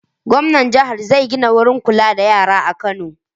Gwamnan jihar zai gina wurin kula da yara a Kano.